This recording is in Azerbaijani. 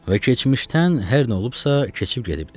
Və keçmişdən hər nə olubsa, keçib gedibdir.